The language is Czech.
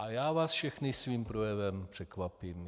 A já vás všechny svým projevem překvapím.